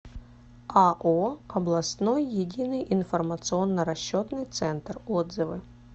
ао областной единый информационно расчетный центр отзывы